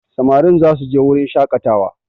Samarin za su je wurin shakatawa